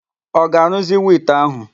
Ọ ga-arụzinwu ite ahụ?